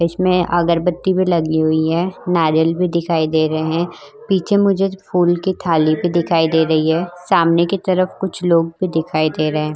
इसमें अगरबत्ती भी लगी हुई है नारियल भी दिखाई दे रहे है पीछे मुझे फूल की थाली भी दिखाई दे रही है सामने की तरफ कुछ लोग भी दिखाई दे रहे है।